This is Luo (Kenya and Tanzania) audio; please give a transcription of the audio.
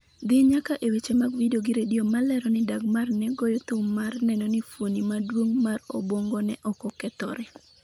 dhi nyaka e weche mag vidio gi redio ma lero ni Dagmar ne goyo thum mar neno ni fuoni maduong' mar obwongone okokethore .